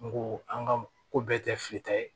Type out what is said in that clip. N ko an ka ko bɛɛ tɛ fili ta ye